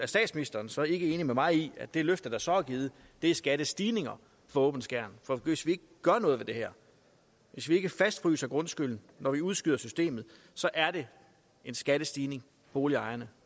statsministeren så ikke enig med mig i at det løfte der så er givet er skattestigninger for åben skærm for hvis vi ikke gør noget ved det her hvis vi ikke fastfryser grundskylden når vi udskyder systemet så er det en skattestigning boligejerne